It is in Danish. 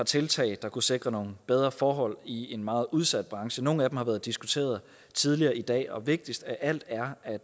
tiltag der kunne sikre bedre forhold i en meget udsat branche nogle af dem har været diskuteret tidligere i dag og det vigtigste af alt er at